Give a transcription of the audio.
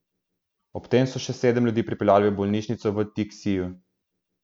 Ob tem so še sedem ljudi pripeljali v bolnišnico v Tiksiju.